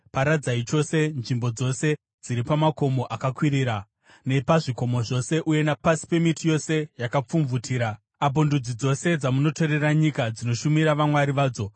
Paradzai chose nzvimbo dzose dziri pamakomo akakwirira nepazvikomo zvose uye napasi pemiti yose yakapfumvutira apo ndudzi dzose dzamunotorera nyika dzinoshumira vamwari vadzo.